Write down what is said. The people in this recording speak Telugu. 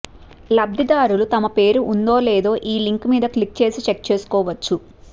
లబ్ధిదారులు తమ పేరు ఉందో లేదో ఈ లింక్ మీద క్లిక్ చేసి చెక్ చేసుకోవచ్చు